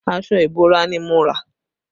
Aṣọ ìbora ni mo rà